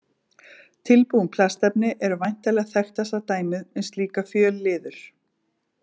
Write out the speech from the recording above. Tilbúin plastefni eru væntanlega þekktasta dæmið um slíkar fjölliður.